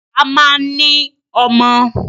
Bàbá máa ń ní ọmọ.